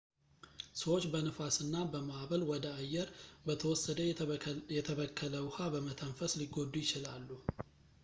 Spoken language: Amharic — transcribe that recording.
ሰዎች በነፋስ እና በማዕበል ወደ አየር በተወሰደ የተበከለ ውሃ በመተንፈስ ሊጎዱ ይችላሉ